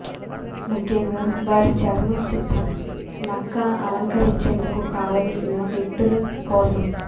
ముఖ్యంగా వారి చర్మం చిత్రం నక్క అలంకరించేందుకు కావలసిన వ్యక్తులు కోసం